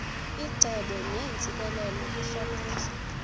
icebo neentsikelelo kusomandla